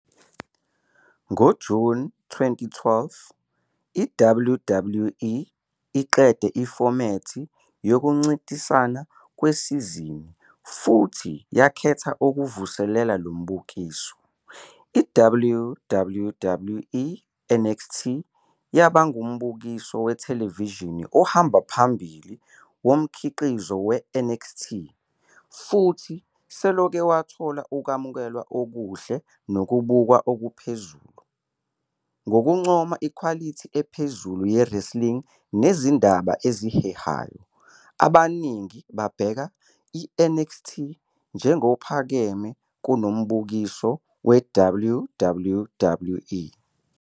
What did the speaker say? NgoJuni 2012, iWWE iqede ifomethi yokuncintisana kwesizini futhi yakhetha ukuvuselela lo mbukiso. I"-WWE NXT" yaba ngumbukiso wethelevishini ohamba phambili womkhiqizo we-NXT, futhi selokhu wathola ukwamukelwa okuhle nokubukwa okuphezulu, ngokuncoma ikhwalithi ephezulu ye-wrestling nezindaba ezihehayo. Abaningi babheka i- "NXT njengophakeme kunombukiso we-" WWE.